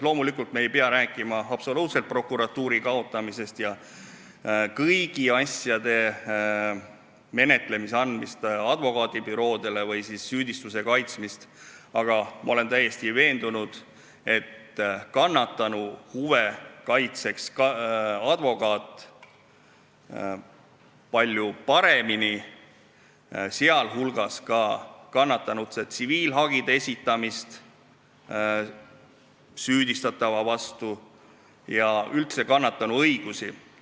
Loomulikult ei pea me rääkima prokuratuuri kaotamisest ja kõigi asjade menetlemise või süüdistuse kaitsmise andmisest advokaadibüroodele, aga ma olen täiesti veendunud, et kannatanu huve kaitseks advokaat palju paremini, see puudutab kannatanu tsiviilhagi esitamist süüdistatava vastu ja üldse kannatanu õigusi.